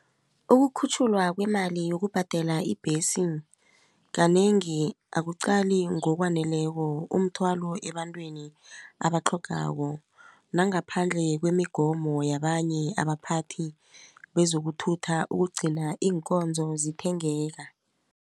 Ukukhutjhulwa kwemali yokubhadela ibhesi kanengi akuqali ngokwaneleko umthwalo ebantwini abatlhogako nangaphandle kwemigomo yabanye abaphathi bezokuthutha ukugcina iinkonzo zithengeka.